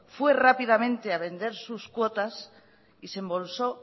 fue rápidamente a vender sus cuotas y se embolsó